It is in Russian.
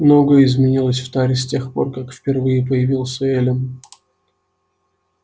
многое изменилось в таре с тех пор как впервые появилась эллин